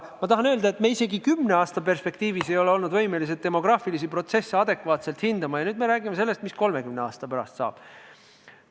Ma tahan öelda, et me isegi kümne aasta perspektiivis ei ole olnud võimelised demograafilisi protsesse adekvaatselt hindama, ja nüüd me peaks rääkima sellest, mis 30 aasta pärast saab.